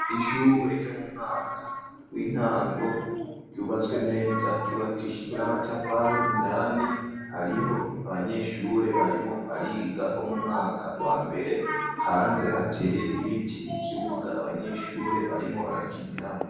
Ishure ryo mu mwaka w'intango ryubatswe neza ryubakishijwe n'amatafari indani hariho abanyeshure barimo bariga bo mu mwaka wa mbere, hanze hateye ibiti n'ikibuga abanyeshure barimo barakiniramwo.